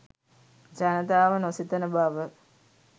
ජනතාව නොසිතන බව